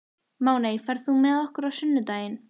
Máney, ferð þú með okkur á sunnudaginn?